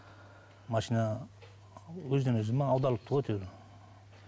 машина өзінен өзі ме аударылыпты ғой әйтеуір